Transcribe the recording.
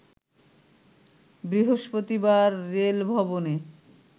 বৃহস্পতিবার রেলভবনে